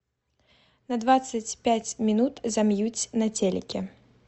на двадцать пять минут замьють на телике